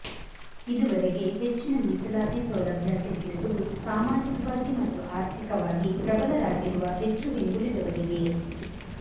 ಇದುವರೆಗೆ ಹೆಚ್ಚಿನ ಮೀಸಲಾತಿ ಸೌಲಭ್ಯ ಸಿಕ್ಕಿರುವುದು ಸಾಮಾಜಿಕವಾಗಿ ಮತ್ತು ಆರ್ಥಿಕವಾಗಿ ಪ್ರಬಲರಾಗಿರುವ ಹೆಚ್ಚು ಹಿಂದುಳಿದವರಿಗೇ